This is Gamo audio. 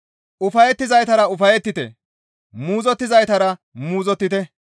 Ufayettizaytara ufayettite; muuzottizaytara muuzottite.